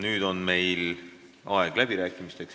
Nüüd on meil aeg läbirääkimisteks.